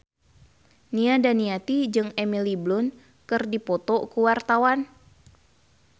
Nia Daniati jeung Emily Blunt keur dipoto ku wartawan